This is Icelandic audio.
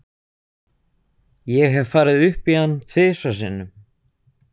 Ég hef farið upp í hann tvisvar sinnum.